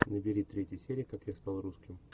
набери третья серия как я стал русским